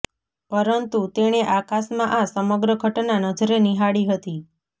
પરંતુ તેણે આકાશમાં આ સમગ્ર ઘટના નજરે નિહાળી હતી